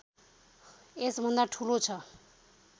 यसभन्दा ठूलो छ